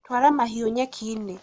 twara mahiũ nyeki-inĩ